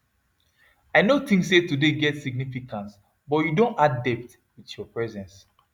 i no think say today get significance but you don add depth with your presence